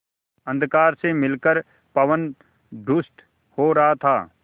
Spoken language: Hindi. अंधकार से मिलकर पवन दुष्ट हो रहा था